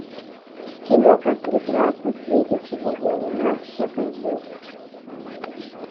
кино как прекрасно светит сегодня луна покажи